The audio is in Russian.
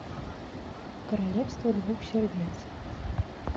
королевство двух сердец